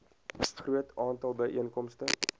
groot aantal byeenkomste